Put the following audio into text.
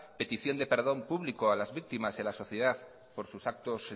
petición de perdón público a las víctimas y a la sociedad por sus actos